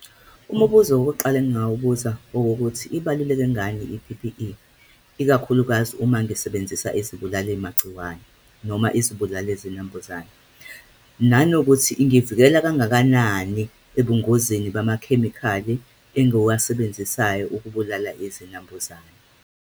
Umubuzo wokuqala engingawubuza okuwukuthi, ibaluleke ngani I-P_P_E, ikakhulukazi uma ngisebenzisa izibulali magciwane, noma izibulali zinambuzane, nanokuthi ingivikela kangakanani ebungozini bamakhemikhali engiwasebenzisayo ukubulala izinambuzane.